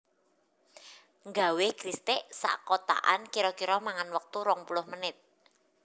Nggawe kristik sak kotakan kiro kiro mangan wektu rong puluh menit